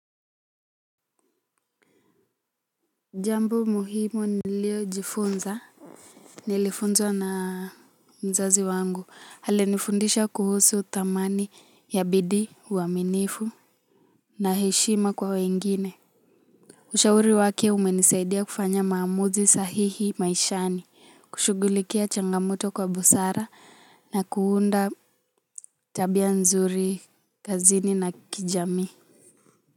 Jambo muhimu nilio jifunza. Nilifunzwa na mzazi wangu alinifundisha kuhusu thamani ya bidii uaminifu. Na heshima kwa wengine. Ushauri wake umenisaidia kufanya maamuzi sahihi maishani. Kushugulikia changamoto kwa busara na kuunda tabia nzuri kazini na kijamii.